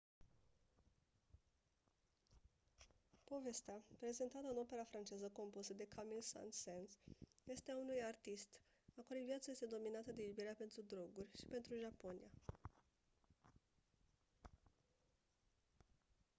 povestea prezentată în opera franceză compusă de camille saint-saens este a unui artist «a cărui viață este dominată de iubirea pentru droguri și pentru japonia».